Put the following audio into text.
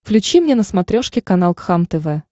включи мне на смотрешке канал кхлм тв